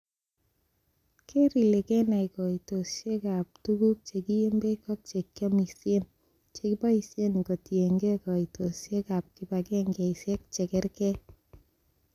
Keer ile kenai koitosiek ab tuguk che kiyeen beek ak che kiomisien, chekiboishen kotienge koitosiek ab kibagengeisiek che kergee.